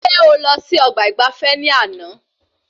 Ṣe o lọ sí ọgbà ìgbafé ní àna?